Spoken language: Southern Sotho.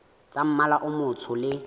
tsa mmala o motsho le